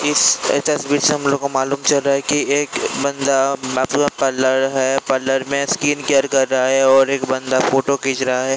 इस तस्वीर से हम लोगो को मालूम चल रहा है की एक बन्दा मतलब पार्लर है पार्लर में स्किन केयर कर रहा है और एक बन्दा फोटो खीच रहा है।